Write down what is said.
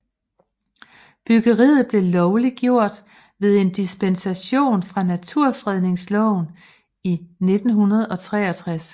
Byggeriet blev lovliggjort ved en dispensation fra Naturfredningsloven i 1963